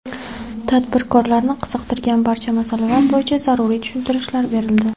Tadbirkorlarni qiziqtirgan barcha masalalar bo‘yicha zaruriy tushuntirishlar berildi.